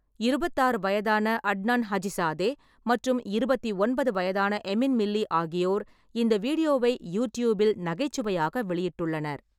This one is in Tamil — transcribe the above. இருபத்தாறு வயதான அட்னான் ஹஜிசாதே மற்றும் இருபத்தி ஒன்பது வயதான எமின் மில்லி ஆகியோர் இந்த வீடியோவை யூடியூப்பில் நகைச்சுவையாக வெளியிட்டுள்ளனர்.